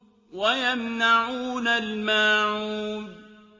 وَيَمْنَعُونَ الْمَاعُونَ